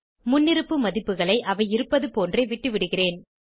முன்னிருப்பு மதிப்புகளை அவை இருப்பது போன்றே விட்டுவிடுகிறேன்